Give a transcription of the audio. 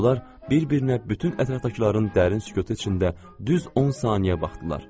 Onlar bir-birinə bütün ətrafdakıların dərin sükutu içində düz 10 saniyə baxdılar.